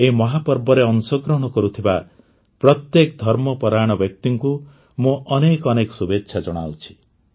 ଏହି ମହାପର୍ବରେ ଅଂଶଗ୍ରହଣ କରୁଥିବା ପ୍ରତ୍ୟେକ ଧର୍ମପରାୟଣ ବ୍ୟକ୍ତିଙ୍କୁ ମୁଁ ଅନେକ ଅନେକ ଶୁଭେଚ୍ଛା ଜଣାଉଛି